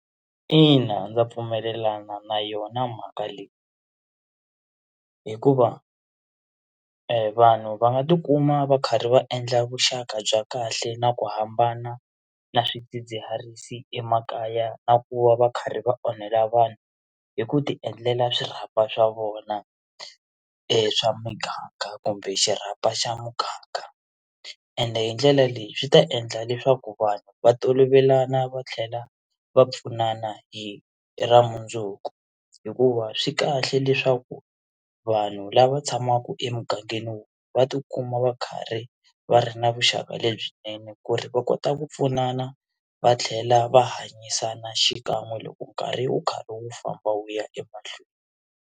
Ina, ndza pfumelelana na yona mhaka leyi hikuva vanhu va nga tikuma va karhi va endla vuxaka bya kahle na ku hambana na swidzidziharisi emakaya na ku va va karhi va onhela vanhu hi ku tiendlela swirhapa swa vona e swa miganga kumbe xirhapa xa muganga ende hi ndlela leyi swi ta endla leswaku vanhu va tolovelana va tlhela va pfunana hi ra mundzuku hikuva swi kahle leswaku vanhu lava tshamaka emugangeni wun'we va tikuma va karhi va ri na vuxaka lebyinene ku ri va kota ku pfunana va tlhela va hanyisana xikan'we loko nkarhi wu karhi wu famba wu ya emahlweni.